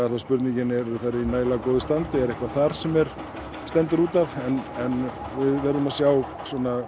er spurningin eru þær í nægilega góðu standi er eitthvað þar sem stendur út af en við verðum að sjá